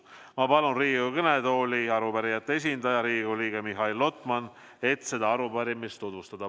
Ma palun Riigikogu kõnetooli arupärijate esindaja, Riigikogu liikme Mihhail Lotmani, et ta seda arupärimist tutvustaks.